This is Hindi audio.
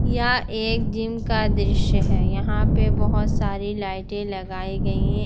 यह एक जिम का दृश्य है यहां पे बहुत सारी लाइटें लगाई गई हैं।